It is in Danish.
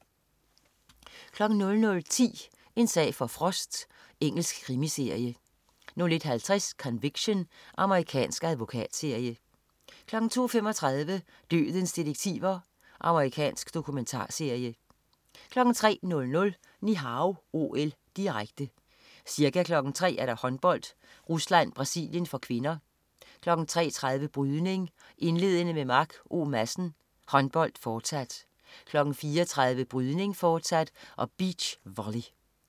00.10 En sag for Frost. Engelsk krimiserie 01.50 Conviction. Amerikansk advokatserie 02.35 Dødens detektiver. Amerikansk dokumentarserie 03.00 Ni Hao OL, direkte. Ca. kl. 03.00: Håndbold: Rusland-Brasilien (k), kl. 03.30: Brydning, indledende med Mark O. Madsen, håndbold fortsat, kl. 04.30: Brydning fortsat og beach volley